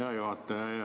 Hea juhataja!